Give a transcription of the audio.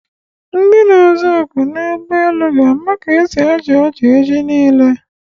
Ndi na-aza oku n'ụgbọelu ga-ama ka esi achị ọchị echi niile